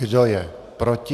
Kdo je proti?